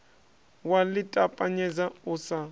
wa ḽi ṱapanyedza u sa